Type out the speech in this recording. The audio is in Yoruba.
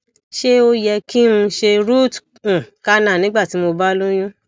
ṣé ó yẹ kí n se root um canal nígbà tí mo ba loyún